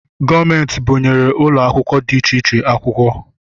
Gọọmenti bunyere ụlọ akwụkwọ dị iche iche akwukwọ